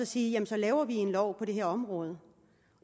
sige jamen så laver vi en lov på det her område